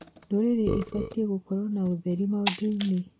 Ndũrĩrĩ ibatiĩ gũkorwo na ũtheri maũndũ-inĩ